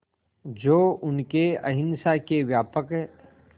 जो उनके अहिंसा के व्यापक